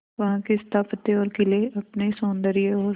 वहां के स्थापत्य और किले अपने सौंदर्य और